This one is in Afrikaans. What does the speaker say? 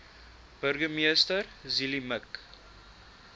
burgemeester zille mik